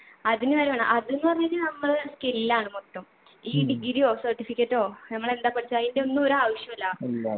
അതിനു വരെ വേണം അത്ന്ന് പറഞ്ഞു കഴിഞ്ഞാ നമ്മളെ skill ആണ് മൊത്തം ഈ degree യോ certificate ഓ നമ്മളെന്താ പഠിച്ചേ അയിൻ്റെ ഒന്നും ഒരാവശ്യല്ല